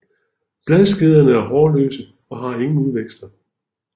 Bladskederne er hårløse og har ingen udvækster